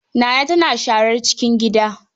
Naana tana sharar cikin gida.